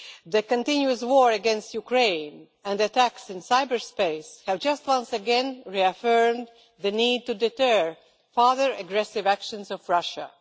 the continuous war against Ukraine and attacks in cyberspace have once again reaffirmed the need to deter further aggressive actions by Russia.